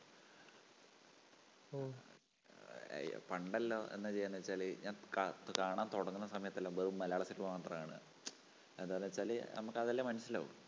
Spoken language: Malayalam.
അഹ് പണ്ടെല്ലാം എന്താ ചെയ്യണേന്നു വച്ചാല് ഞാൻ കാകാണാൻ തുടങ്ങുന്ന സമയത്തെല്ലാം വെറും മലയാള സിനിമ മാത്രാ കാണുക. എന്താന്ന് വച്ചാല് നമുക്കതല്ലേ മനസ്സിലാവൂ.